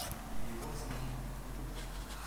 Ye pwa sigik sukul.